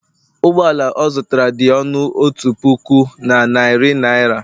ụgbọ ala ọ zụtara dị ọnụ otu puku, na narị naira